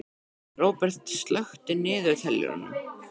Róberta, slökktu á niðurteljaranum.